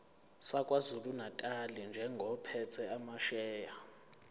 sakwazulunatali njengophethe amasheya